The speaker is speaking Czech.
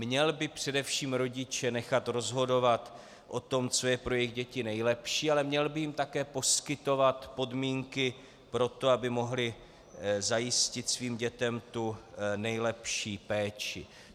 Měl by především rodiče nechat rozhodovat o tom, co je pro jejich děti nejlepší, ale měl by jim také poskytovat podmínky pro to, aby mohli zajistit svým dětem tu nejlepší péči.